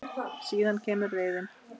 Síðan kemur reiðin.